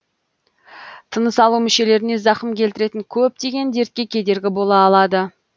тыныс алу мүшелеріне зақым келтіретін көптеген дертке кедергі бола алады